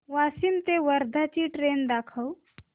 वाशिम ते वर्धा ची ट्रेन दाखव